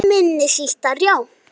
Minni sítar, já